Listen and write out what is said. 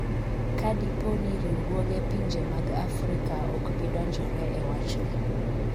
kadipo ni riwruoge pinje mag Afrika ok bi donjore e wachni